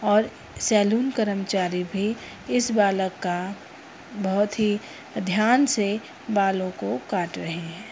और सैलून कर्मचारी भी इस बालक का बहोत ही ध्यान से बालों को काट रहे हैं।